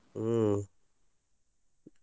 ಹ್ಮ್.